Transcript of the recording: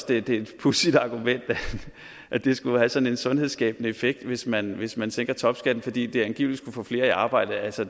det er et pudsigt argument at det skulle have sådan en sundhedsskabende effekt hvis man hvis man tænker topskatten fordi det angiveligt skulle få flere i arbejde altså